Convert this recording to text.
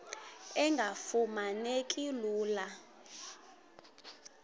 engafuma neki lula